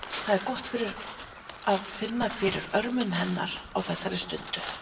Það er gott að finna fyrir örmum hennar á þessari stundu.